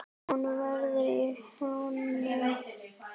Hún veður í honum.